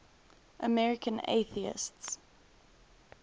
american atheists